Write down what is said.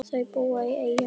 Þau búa í Eyjum.